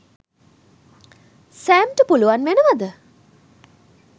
සෑම්ට පුළුවන් වෙනවද